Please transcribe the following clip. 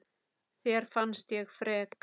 Þér fannst ég frek.